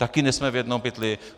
Taky nejsme v jednom pytli.